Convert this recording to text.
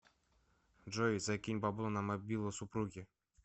джой закинь бабло на мобилу супруги